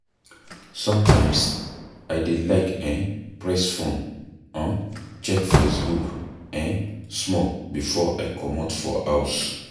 Sometimes, I dey like um press phone, um check Facebook um small before I comot for house.